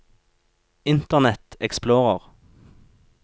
internet explorer